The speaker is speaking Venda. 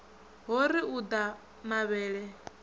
ho ri u ḓa mavhele